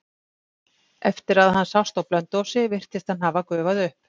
Eftir að hann sást á Blönduósi virtist hann hafa gufað upp.